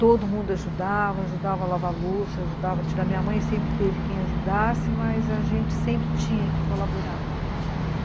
Todo mundo ajudava, ajudava a lavar a louça, ajudava a tirar... Minha mãe sempre teve quem ajudasse, mas a gente sempre tinha que colaborar.